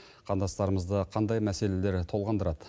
қандастырымызды қандай мәселелер толғандырады